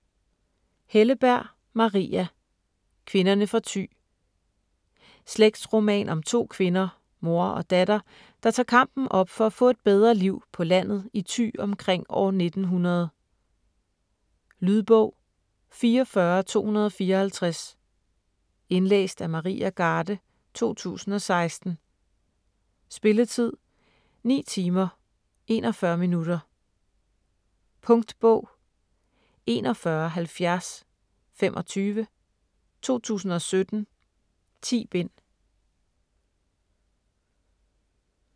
Helleberg, Maria: Kvinderne fra Thy Slægtsroman om to kvinder, mor og datter, der tager kampen op for at få et bedre liv på landet i Thy omkring år 1900. Lydbog 44254 Indlæst af Maria Garde, 2016. Spilletid: 9 timer, 41 minutter. Punktbog 417025 2017. 10 bind.